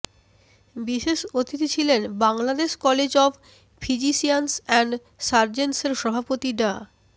বিশেষ অতিথি ছিলেন Bangladesh college of physicians and সার্জনসের সভাপতি ডা